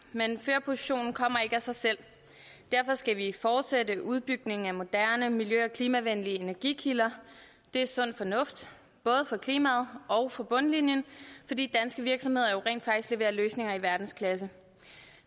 men førerpositionen kommer ikke af sig selv derfor skal vi fortsætte udbygningen af moderne miljø og klimavenlige energikilder det er sund fornuft både for klimaet og for bundlinjen fordi danske virksomheder jo rent faktisk leverer løsninger i verdensklasse